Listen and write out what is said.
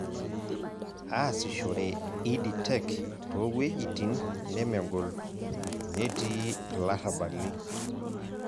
Aasidhore Ed Tech toowuejitin nemegol, netiii ilarrabali.